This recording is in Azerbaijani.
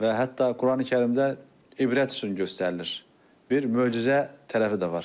Və hətta Qurani-Kərimdə ibrət üçün göstərilir, bir möcüzə tərəfi də var.